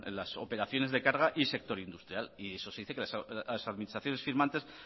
las operaciones de carga y de sector industrial y eso se dice que las administraciones firmantes